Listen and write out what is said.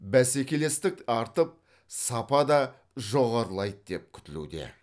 бәсекелестік артып сапа да жоғарылайды деп күтілуде